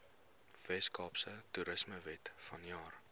weskaapse toerismewet vanjaar